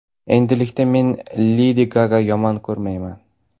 Endilikda men Ledi Gagani yomon ko‘rmayman.